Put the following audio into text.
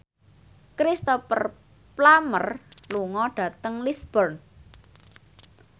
Cristhoper Plumer lunga dhateng Lisburn